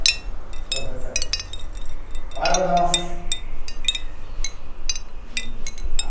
O professor. O que quer dizer